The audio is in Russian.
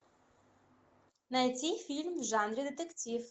найти фильм в жанре детектив